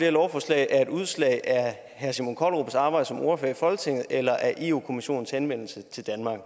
lovforslag er et udslag af herre simon kollerups arbejde som ordfører i folketinget eller af europa kommissionens henvendelse til danmark